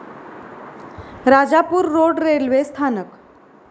Rajapur road railway स्थानक